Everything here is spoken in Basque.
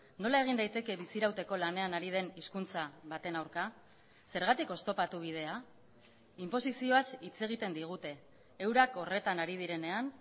nola egin daiteke bizirauteko lanean ari den hizkuntza baten aurka zergatik oztopatu bidea inposizioaz hitz egiten digute eurak horretan ari direnean